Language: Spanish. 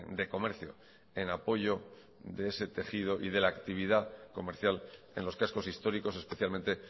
de comercio en apoyo de ese tejido y de la actividad comercial en los cascos históricos especialmente